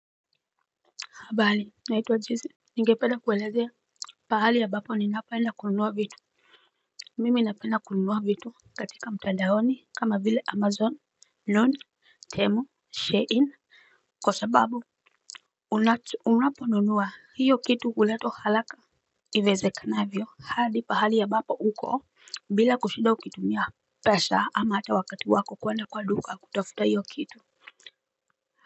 Habari naituwa jesey. Ninge penda kuelezea pahali ambapo ninapenda kununua vitu mimi napenda kunua vitu katika mtandaoni kama vile amazon known temo sharein kwa sababu unapo nunua hio kitu huletwa haraka iwezekanavyo hadi mahali ambapo uko. Bila kushida ukitumia pesa ama ata wakati wako kwenda kwa duka kutafuta hiyo kitu.